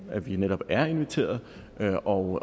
at vi netop er inviteret og